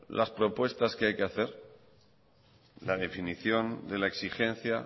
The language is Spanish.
la propuestas que hay que hacer la definición de la exigencia